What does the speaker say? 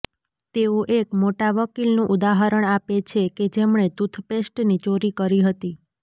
તેઓ એક મોટા વકીલનું ઉદાહરણ આપે છે કે જેમણે ટૂથપેસ્ટની ચોરી કરી હતી